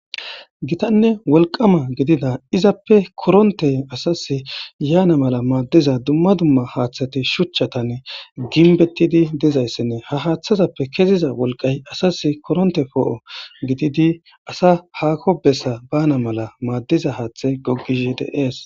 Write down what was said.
gitanne wolqama gidida izappe koronte asas yaana mala maaddiza dumma dumma haaththati shuchchatanne ginbettidi dizayssinne ha haaththazappe keziza wolqay asas koronte poo7o gididi asa haako bessa bana mala maaddiza haaththe gogishi deees